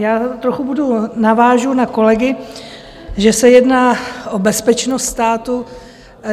Já trochu budu - navážu na kolegy, že se jedná o bezpečnost státu.